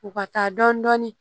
U ka taa dɔɔnin dɔɔnin